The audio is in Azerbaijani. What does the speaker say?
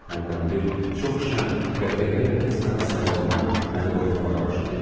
Hərdən bir çox şən qəhqəhə ilə kəsilən sayıqlama məni qorxutmağa başlayırdı.